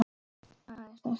Aðeins þess vegna.